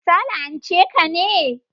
Ta la'anche ka ne?